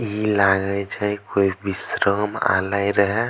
ई लागे छै कोय विश्राम आलय रहे।